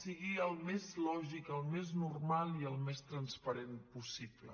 sigui el més lògic el més normal i el més transparent possible